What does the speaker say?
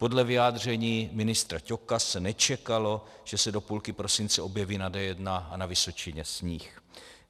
Podle vyjádření ministra Ťoka se nečekalo, že se do půlky prosince objeví na D1 a Vysočině sníh.